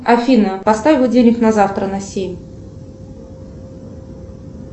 афина поставь будильник на завтра на семь